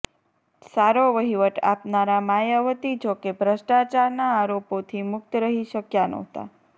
સારો વહીવટ આપનારાં માયાવતી જોકે ભ્રષ્ટાચારના આરોપોથી મુક્ત રહી શક્યાં નહોતાં